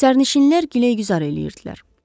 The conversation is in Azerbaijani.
Sərnişinlər güləruzər edirdilər.